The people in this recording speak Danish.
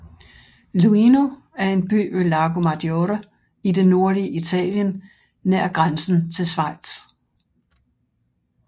Luino er en by ved Lago Maggiore i det nordlige Italien nær grænsen til Schweiz